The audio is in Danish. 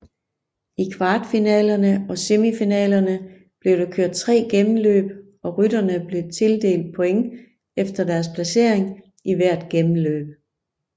I kvartfinalerne og semifinalerne blev der kørt tre gennemløb og rytterne blev tildelt points efter deres placering i hvert gennemløb